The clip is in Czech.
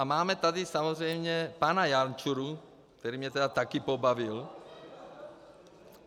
A máme tady samozřejmě pana Jančuru, který mě tedy také pobavil.